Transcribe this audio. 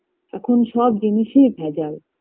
এখন সব জিনিসেই ভেজাল